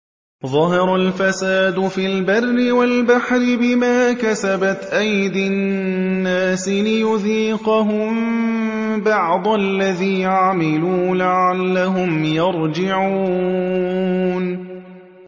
ظَهَرَ الْفَسَادُ فِي الْبَرِّ وَالْبَحْرِ بِمَا كَسَبَتْ أَيْدِي النَّاسِ لِيُذِيقَهُم بَعْضَ الَّذِي عَمِلُوا لَعَلَّهُمْ يَرْجِعُونَ